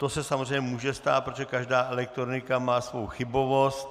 To se samozřejmě může stát, protože každá elektronika má svou chybovost.